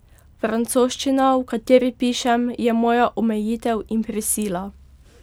Francoščina, v kateri pišem, je moja omejitev in prisila.